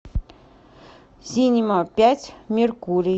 синема пять меркурий